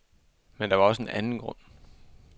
Men der var også en anden grund.